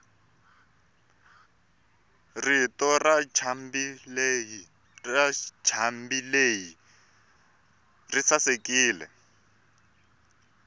rito rancambileyi risasekile